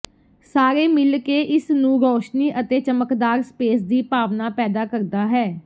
ਸਾਰੇ ਮਿਲ ਕੇ ਇਸ ਨੂੰ ਰੌਸ਼ਨੀ ਅਤੇ ਚਮਕਦਾਰ ਸਪੇਸ ਦੀ ਭਾਵਨਾ ਪੈਦਾ ਕਰਦਾ ਹੈ